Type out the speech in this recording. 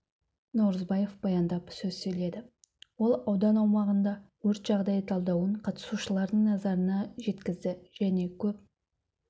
науразбаев баяндап сөз сөйледі ол аудан аумағында өрт жағдайы талдауын қатысушылардың назарына жеткізді және көп